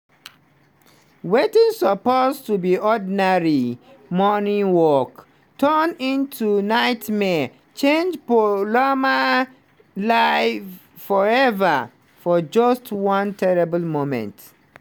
wetin suppose to be ordinary morning work turn into nightmare change poulami life forever for just one terrible moment.